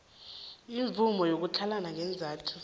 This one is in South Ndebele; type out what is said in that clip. imvumo yokutlhalana ngeenzathu